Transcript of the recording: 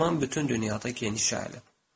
Dərman bütün dünyada geniş yayılıb.